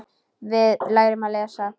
Við lærum að lesa.